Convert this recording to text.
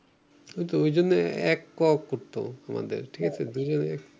ঐতো ঐজন্যই এক ক করতো আমাদের ঠিকাছে দুইজনের